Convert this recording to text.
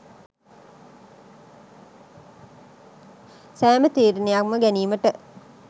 සෑම තීරණයක්ම ගැනීමට